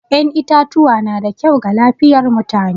Yan itatuwa na da kyau ga lafiyar mutane.